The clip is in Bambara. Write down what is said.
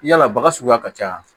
Yala baga suguya ka ca